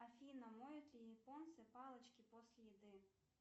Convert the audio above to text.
афина моют ли японцы палочки после еды